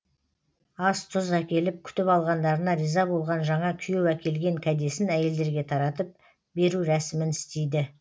ас тұз әкеліп күтіп алғандарына риза болған жаңа күйеу әкелген кәдесін әйелдерге таратып беру рәсімін істейді